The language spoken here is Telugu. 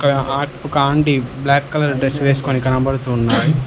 హ కండి ఒక ఆంటీ బ్లాక్ కలర్ డ్రస్ వేసుకొని కనపడుతున్నాయి.